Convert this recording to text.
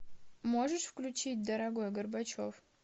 можешь включить дорогой горбачев